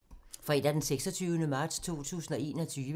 Fredag d. 26. marts 2021